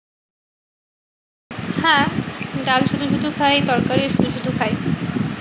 হ্যাঁ ডাল শুধু শুধু খাই তরকারিও শুধু শুধু খাই।